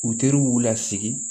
U teriw y'u lasigi